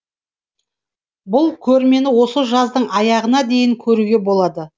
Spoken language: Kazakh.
бұл көрмені осы жаздың аяғына дейін көруге болады